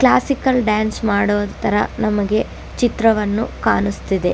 Classical dance ಮಾಡೊತರ ನಮಗೆ ಚಿತ್ರವನ್ನು ಕಾಣಸ್ತಿದೆ.